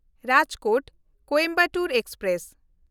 Rajkot-Coimbatore express